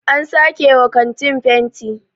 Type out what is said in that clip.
an sake wa kanti fenti